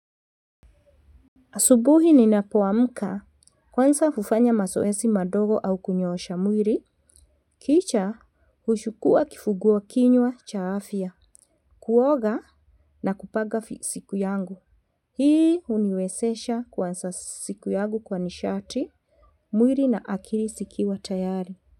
Asubuhi ninapoamka huanza kufanya mazoezi madogo au kunyosha mwili, kisha kuchukuwa kifungua kinywa cha afya, kuoga na kupanga siku yangu. Hii huniwezesha kuanza siku yangi kwa nishati, mwili na akili zikiwa tayari.